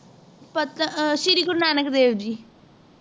ਪਤ ਆਹ ਸ਼੍ਰੀ ਗੁਰੂ ਨਾਨਕ ਦੇਵ ਜੀ